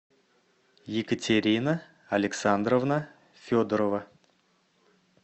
екатерина александровна федорова